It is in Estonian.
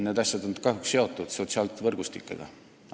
Need asjad on kahjuks seotud sotsiaalsete võrgustikega.